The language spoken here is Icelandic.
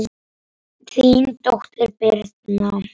Þín dóttir, Birna.